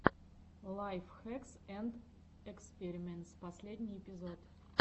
лайф хэкс энд эспериментс последний эпизод